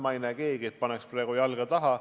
Ma ei näe, et keegi paneks praegu jalga taha.